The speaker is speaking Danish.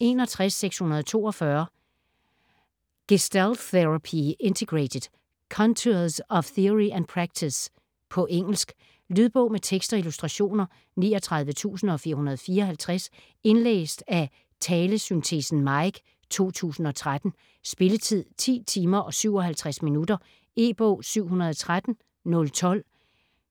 61.642 Gestalt therapy integrated: contours of theory and practice På engelsk. Lydbog med tekst og illustrationer 39454 Indlæst af Talesyntesen Mike, 2013. Spilletid: 10 timer, 57 minutter. E-bog 713012